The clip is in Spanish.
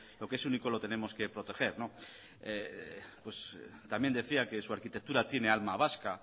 lo que es único lo tenemos que proteger también decía que su arquitectura tiene alma vasca